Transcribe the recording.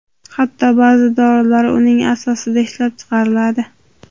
Hatto ba’zi dorilar uning asosida ishlab chiqariladi.